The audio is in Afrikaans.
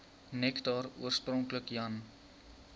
nektar oorspronklik jan